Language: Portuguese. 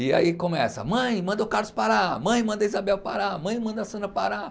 E aí começa, mãe, manda o Carlos parar, mãe, manda a Isabel parar, mãe, manda a Sandra parar.